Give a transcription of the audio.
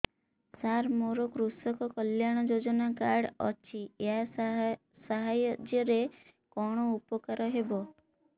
ସାର ମୋର କୃଷକ କଲ୍ୟାଣ ଯୋଜନା କାର୍ଡ ଅଛି ୟା ସାହାଯ୍ୟ ରେ କଣ ଉପକାର ହେବ